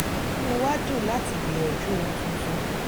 inú wa dùn láti gbìyànjú ohun tuntun